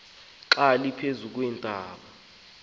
xa liphezu kweentaba